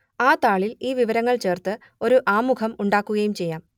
ആ താളിൽ ഈ വിവരങ്ങൾ ചേർത്ത് ഒരു ആമുഖം ഉണ്ടാക്കുകയും ചെയ്യാം